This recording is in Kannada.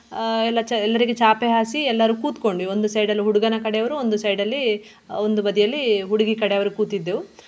ಆಹ್ ಎಲ್ಲ ಚ~ ಎಲ್ಲರಿಗೆ ಚಾಪೆ ಹಾಸಿ ಎಲ್ಲರು ಕೂತುಕೊಂಡ್ವಿ ಒಂದು side ಅಲ್ಲಿ ಹುಡುಗನ ಕಡೆಯವರು ಒಂದು side ಅಲ್ಲಿ ಆಹ್ ಒಂದು ಬದಿಯಲ್ಲಿ ಹುಡುಗಿ ಕಡೆಯವರು ಕೂತಿದ್ದೆವು.